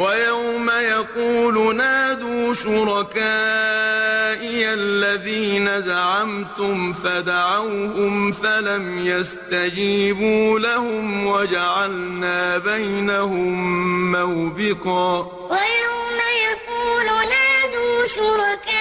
وَيَوْمَ يَقُولُ نَادُوا شُرَكَائِيَ الَّذِينَ زَعَمْتُمْ فَدَعَوْهُمْ فَلَمْ يَسْتَجِيبُوا لَهُمْ وَجَعَلْنَا بَيْنَهُم مَّوْبِقًا وَيَوْمَ يَقُولُ نَادُوا شُرَكَائِيَ